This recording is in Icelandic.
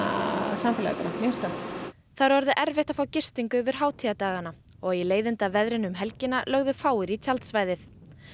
samfélagið mér finnst það það er orðið erfitt að fá gistingu yfir hátíðardagana og í leiðindaveðrinu um helgina lögðu fáir í tjaldsvæðið